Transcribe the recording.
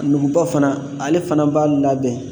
Nuguba fana , ale fana b'a labɛn.